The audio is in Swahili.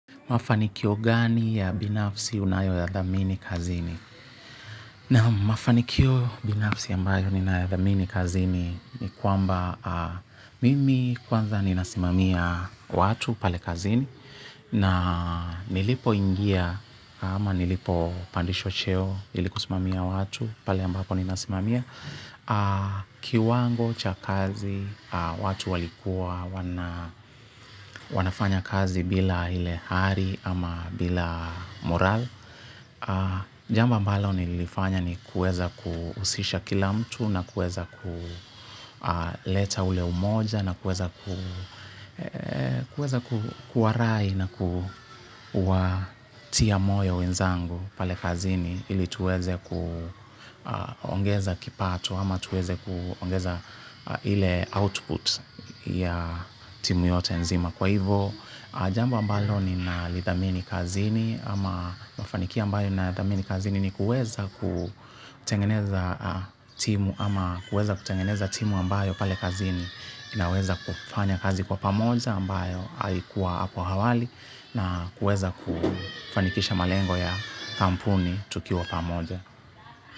Mafanikio gani ya binafsi unayoyadhamini kazini? Naam mafanikio binafsi ambayo ninayodhamini kazini ni kwamba mimi kwanza ninasimamia watu pale kazini na nilipoingia ama nilipopandishwa cheo ili kusimamia watu pale ambapo ninasimamia. Kiwango cha kazi, watu walikuwa wanafanya kazi bila ile hari ama bila morali. Jambo ambalo nilifanya ni kuweza kuhusisha kila mtu na kueza kuleta ule umoja na kueza kuwarai na kuwatia moyo wenzangu pale kazini ili tuweze kuongeza kipato ama tuweze kuongeza ile output ya timu yote nzima. Kwa hivyo jambo ambalonninalodhamini kazini au mafanikio ninayodhamini ni kuweza timu ama kuweza kutengeneza timu ambayo pale kazini inaweza kufanya kazi kwa pamoja ambayo aikuwa hapo awali na kuweza kufanikisha malengo ya kampuni tukiwa pamoja.